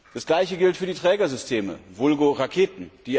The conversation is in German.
Das gleiche gilt für die Trägersysteme, Vulgo Raketen.